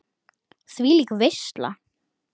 Þvílík veisla.